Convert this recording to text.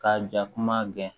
Ka jakuma gɛn